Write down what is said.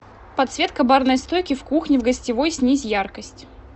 подсветка барной стойки в кухне в гостевой снизь яркость